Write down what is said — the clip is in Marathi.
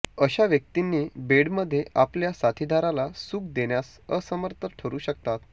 अशा व्यक्तींनी बेडमध्ये आपल्या साथीदाराला सुख देण्यास असमर्थ ठरू शकतात